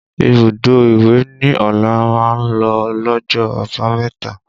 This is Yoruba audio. Ibùdó ìwẹ̀ ni Ọlá máa ń lọ lọ́jọ́ àbámẹ̀ta